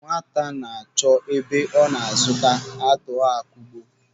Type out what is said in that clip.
Nwaka na-achọ ebe ọ ga a zụta atuọ akugbuo.